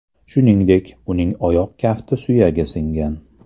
Shuningdek, uning oyoq kafti suyagi singan.